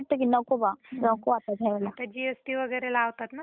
आता G S T वैगरे लावतात ना सगळं त्याच्यामुळ प्राइज पण वाढली.